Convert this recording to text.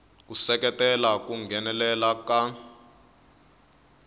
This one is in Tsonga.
ku seketela ku nghenelela ka